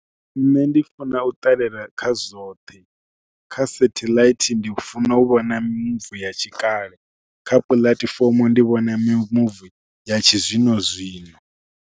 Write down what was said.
Nṋe ndi funa u ṱalela kha zwoṱhe kha setheḽaithi ndi funa u vha na mavu ya tshikale, kha puḽatifomo ndi vhona mimuvi ya tshizwino zwino.